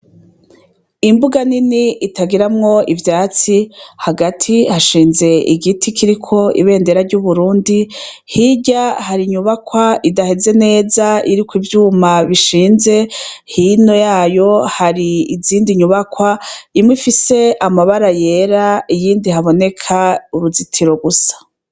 Imbuga nini itagiramwo ivyatsi hagati hashinze igiti kiriko ibendera ry'uburundi hirya hari inyubakwa idaheze neza iriko ivyuma bishinze hino yayo hari izindi nyubakwa imwe ifise amabara yera iyindi haboneka uruzitiro gusa.